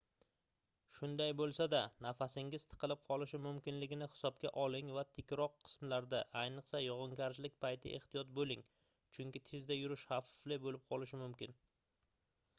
shunday boʻlsa-da nafasingiz tiqilib qolishi mumkinligini hisobga oling va tikroq qismlarda ayniqsa yogʻingarchilik payti ehtiyot boʻling chunki tezda yurish xavfli boʻlib qolishi mumkin